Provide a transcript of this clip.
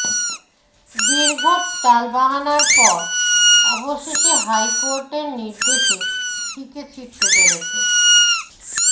দীর্ঘ টাল বাহানার পর অবশেষে হাইকোর্টের নির্দেশে শিঁকে ছিড়তে চলেছে